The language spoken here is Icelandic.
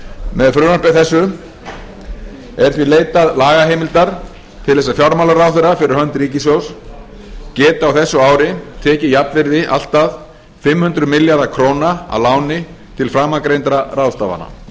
með frumvarpi þessu er því leitað lagaheimildar til þess að fjármálaráðherra fyrir hönd ríkissjóðs geti á þessu ári tekið jafnvirði allt að fimm hundruð milljarða króna að láni til framangreindra ráðstafana